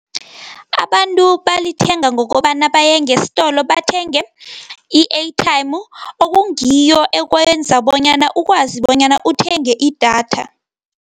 Abantu balithenga ngokobana baye ngesitolo bathenge i-airtime okungiyo ekwenza bonyana ukwazi bonyana uthenge idatha.